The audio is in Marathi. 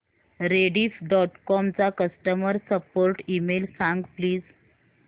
रेडिफ डॉट कॉम चा कस्टमर सपोर्ट ईमेल सांग प्लीज